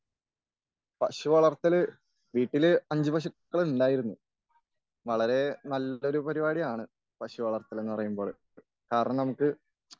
പശു വളർത്തല്, വീട്ടില് അഞ്ച്‌ പശുക്കൾ ഉണ്ടായിരുന്നു.വളരെ നല്ലൊരു പരിപാടിയാണ് പശു വളർത്തൽ എന്ന് പറയുമ്പോൾ.കാരണം നമുക്ക്